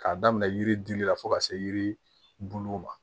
K'a daminɛ yiri dili la fo ka se yiri bulu ma